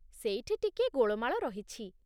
ସେଇଠି ଟିକିଏ ଗୋଳମାଳ ରହିଛି ।